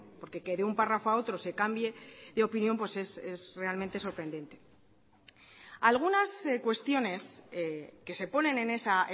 porque que de un párrafo a otro se cambie de opinión es realmente sorprendente algunas cuestiones que se ponen en esa